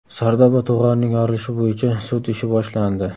Sardoba to‘g‘onining yorilishi bo‘yicha sud ishi boshlandi.